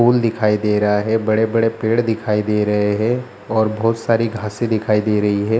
फूल दिखई दे रहा है | बड़े-बड़े पेड़ दिखई दे रहे हैं | और बहुत सारी घासे दिखई दे रही है |